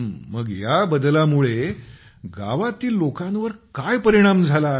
मग या बदलामुळे गावातील लोकांवर काय परिणाम झाला आहे